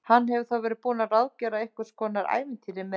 Hann hefur þá verið búinn að ráðgera einhvers konar ævintýri með henni!